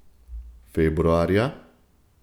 Februarja?